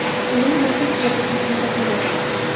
Ular yotoq vazifasini bajaradi.